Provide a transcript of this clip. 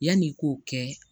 Yanni k'o kɛ